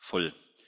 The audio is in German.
voll.